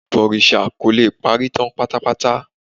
Ìbọ̀rìsà kò le parí tán pátápátá